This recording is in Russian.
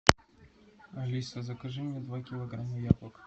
алиса закажи мне два килограмма яблок